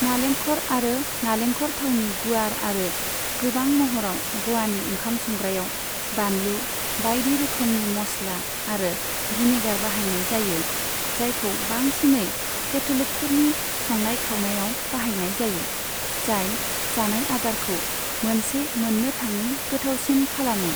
नालेंखर आरो नालेंखर थावनि गुवार आरो गोबां महराव ग'वानि ओंखाम संग्रायाव बानलु, बायदि रोखोमनि मस्ला आरो भिनेगार बाहायनाय जायो, जायखौ बांसिनै केथ'लिकफोरनि संनाय खावनायाव बाहायनाय जायो, जाय जानाय आदारखौ मोनसे मोननो थाङै गोथावसिन खालामो।